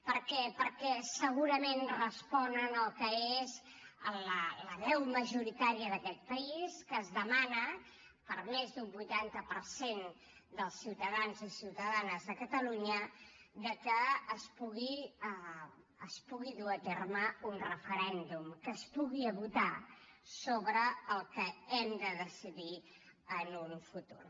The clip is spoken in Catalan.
per què perquè segurament responen al que és la veu majoritària d’aquest país que demana més d’un vuitanta per cent dels ciutadans i ciutadanes de catalunya que es pugui dur a terme un referèndum que es pugui votar sobre el que hem de decidir en un futur